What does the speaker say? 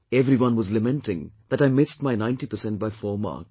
Everyone was lamenting that I missed my 90% by four marks